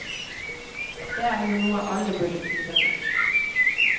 Det er jo noe alle burde drive med.